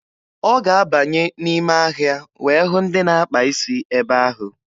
Ọ ga-abanye n'ime ahịa wee hụ ndị na-akpa isi ebe ahụ.